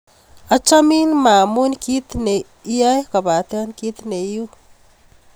Achamin ma amun kiy ne iyoe kopate kit ne i u.